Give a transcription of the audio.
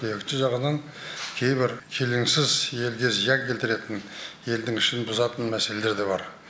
екінші жағынан кейбір келеңсіз елге зиян келтіретін елдің ішін бұзатын мәселелер де бар